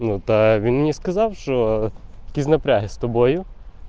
ну так ты мне сказал что киноплекс тобою